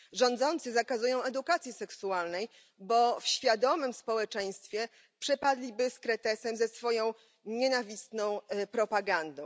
Rządzący zakazują edukacji seksualnej, bo w świadomym społeczeństwie przepadliby z kretesem ze swoją nienawistną propagandą.